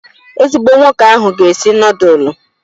Ezigbo nwoke ahụ ga-esi nudulu